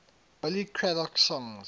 billy craddock songs